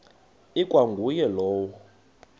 ikwa nguye lowo